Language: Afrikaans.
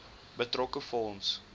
betrokke fonds